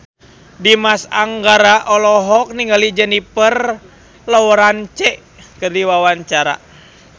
Dimas Anggara olohok ningali Jennifer Lawrence keur diwawancara